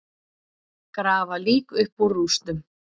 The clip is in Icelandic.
Grafa lík upp úr rústum